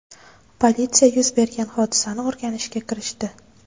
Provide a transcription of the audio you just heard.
Politsiya yuz bergan hodisani o‘rganishga kirishdi.